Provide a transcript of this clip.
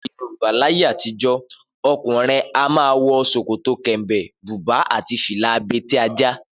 Nílẹ̀ Yorùbá láyé àtijó, ọkùnrin a máa wọ ṣòkòtò kẹ̀m̀bẹ̀, bùbá àti fìlà abetí-ajá